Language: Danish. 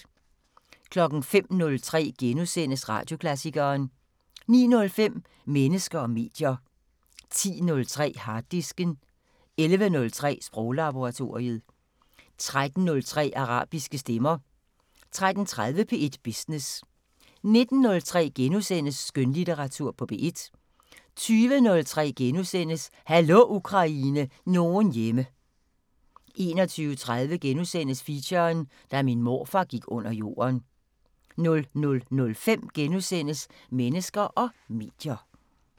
05:03: Radioklassikeren * 09:05: Mennesker og medier 10:03: Harddisken 11:03: Sproglaboratoriet 13:03: Arabiske stemmer 13:30: P1 Business 19:03: Skønlitteratur på P1 * 20:03: Hallo Ukraine – nogen hjemme * 21:03: Feature: Da min morfar gik under jorden * 00:05: Mennesker og medier *